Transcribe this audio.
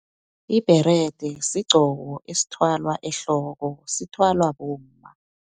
Ibherede, sigqoko esithwalwa ehloko, sithwalwa bomma.